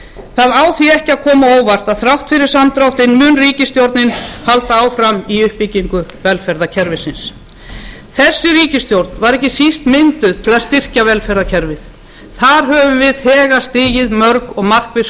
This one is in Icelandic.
það á því ekki að koma á óvart að þrátt fyrir samdráttinn mun ríkisstjórnin halda áfram í uppbyggingu velferðarkerfisins þessi ríkisstjórn var ekki síst mynduð til að styrkja velferðarkerfið þar höfum við þegar stigið mörg og markviss